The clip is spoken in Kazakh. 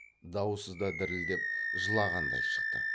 даусы да дірілдеп жылағандай шықты